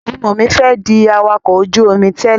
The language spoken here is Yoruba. Ọmọ mi fẹ́ di awakọ̀ ojú-omi tẹ́lè